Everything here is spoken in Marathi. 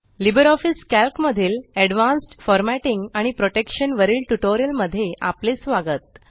लिबर ऑफिस कॅल्क मधील अड्वॅन्स्ड फॉरमॅटिंग आणि प्रोटेक्शन वरील ट्यूटोरियल मध्ये आपले स्वागत